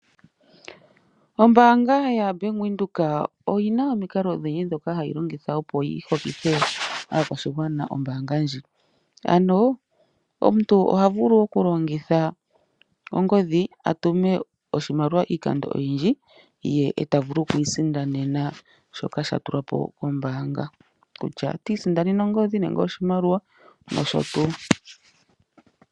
Ombaanga yaBank Windhoek oyina omikalo odhindji ndhoka hayi longitha opo yiholithe ombaanga ndji. Omuntu oha vulu okulongitha ongodhi atume iimaliwa iikando oyindji , ye tavulu okwiisindanena shoka shatulwa po kombaanga, kutya ota isindanene ongodhi nenge oshimaliwa noshotuu.